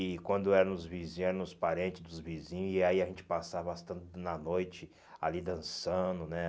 E quando era nos vizinhos, era nos parentes dos vizinhos, e aí a gente passava bastante na noite, ali dançando, né?